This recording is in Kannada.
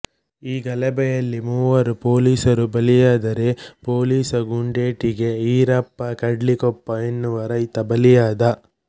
ಈ ಗಲಭೆಯಲ್ಲಿ ಮೂವರು ಪೊಲೀಸರು ಬಲಿಯಾದರೆ ಪೋಲೀಸ ಗುಂಡೇಟಿಗೆ ಈರಪ್ಪ ಕಡ್ಲಿಕೊಪ್ಪ ಎನ್ನುವ ರೈತ ಬಲಿಯಾದ